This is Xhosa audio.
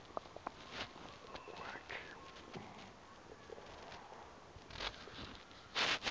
wakhe omkhulu ube